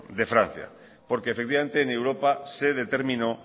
de francia porque efectivamente en europa se determinó